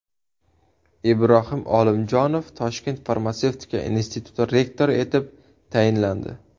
Ibrohim Olimjonov Toshkent farmatsevtika instituti rektori etib tayinlandi.